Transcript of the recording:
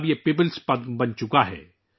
اب یہ عوامی پدم بن گیا ہے